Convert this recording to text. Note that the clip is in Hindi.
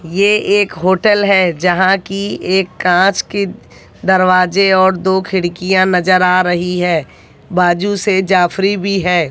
ये एक होटल है यहां की एक कांच के दरवाजे और दो खिड़कियां नजर आ रही है बाजू से जाफरी भी है।